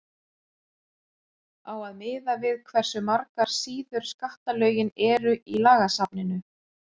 á að miða við hversu margar síður skattalögin eru í lagasafninu